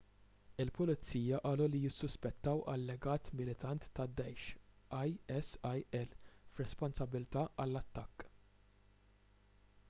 il-pulizija qalu li jissuspettaw allegat militant tad-daesh isil b’responsabbiltà għall-attakk